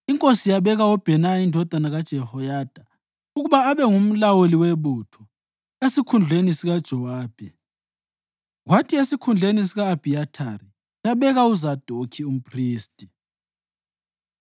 Inkosi yabeka uBhenaya indodana kaJehoyada ukuba abe ngumlawuli webutho esikhundleni sikaJowabi kwathi esikhundleni sika-Abhiyathari yabeka uZadokhi umphristi.